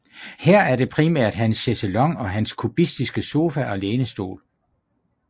Her er det primært hans chaiselong og hans kubistiske sofa og lænestol